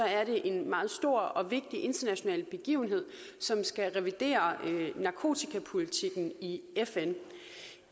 er det en meget stor og vigtig international begivenhed som skal revidere narkotikapolitikken i fn